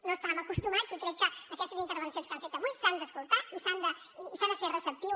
no hi estàvem acostumats i crec que aquestes intervencions que han fet avui s’han d’escoltar i s’hi ha de ser receptiu